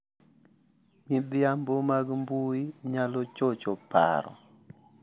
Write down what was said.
Midhiambo mag mbui nyalo chocho paro